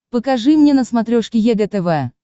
покажи мне на смотрешке егэ тв